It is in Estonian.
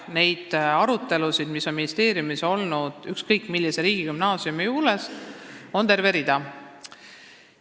Neid arutelusid, mis on ministeeriumis toimunud ükskõik millise riigigümnaasiumi üle, on terve rida.